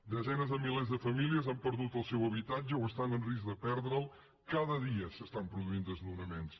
desenes de milers de famílies han perdut el seu habitatge o estan en risc de perdre’l cada dia s’estan produint desnonaments